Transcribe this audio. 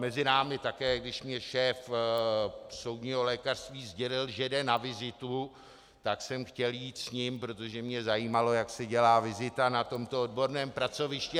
Mezi námi, také když mi šéf soudního lékařství sdělil, že jde na vizitu, tak jsem chtěl jít s ním, protože mě zajímalo, jak se dělá vizita na tomto odborném pracovišti.